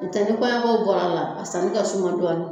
N'o tɛ ni kɔɲɔko bɔra a la a sanni ka suma dɔɔnin